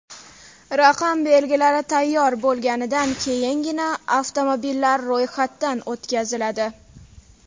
Raqam belgilari tayyor bo‘lganidan keyingina, avtomobillar ro‘yxatdan o‘tkaziladi.